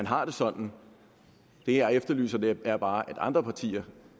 har det sådan det jeg efterlyser er bare at andre partier